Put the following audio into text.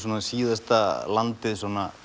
síðasta landið